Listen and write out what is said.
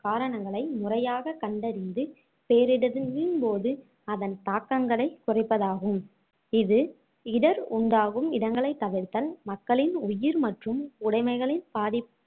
காரணங்களை முறையாக கண்டறிந்து பேரிடரின்~ன் போது அதன் தாக்கங்களைக் குறைப்பதாகும் இது இடர் உண்டாகும் இடங்களைத் தவிர்த்தல் மக்களின் உயிர் மற்றும் உடைமைகளின் பாதி~